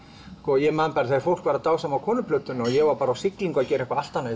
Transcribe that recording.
ég man þegar fólk var að dásama Konuplötuna og ég var bara á siglingu að gera eitthvað allt annað